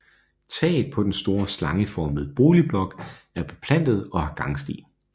Taget på den store slangeformede boligblok er beplantet og har gangsti